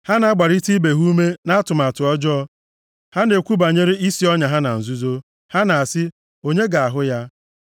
Ha na-agbarịta ibe ha ume na-atụmatụ ọjọọ, ha na-ekwu banyere isi ọnya ha na nzuzo, ha na-asị, “Onye ga-ahụ ya + 64:5 Maọbụ, onye ga-ahụ anyị?”